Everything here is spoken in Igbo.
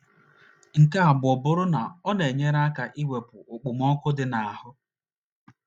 Nke abụọ abụrụ na ọ na - enyere ya aka iwepụ okpomọkụ dị ya n’ahụ́.